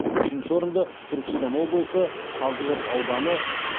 үшінші орынды түркістан облысы қазығұрт ауданы